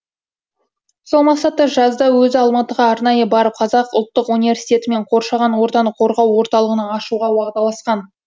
сол мақсатта жазда өзі алматыға арнайы барып қазақ ұлттық университетімен қоршаған ортаны қорғау орталығын ашуға уағдаласқан